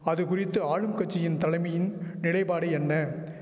அது குறித்து ஆளும் கட்சியின் தலைமையின் நிலைபாடு என்ன